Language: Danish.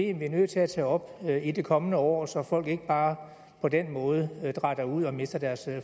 er nødt til at tage op i det kommende år så folk ikke bare på den måde dratter ud og mister deres